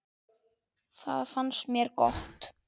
Það fannst mér gott.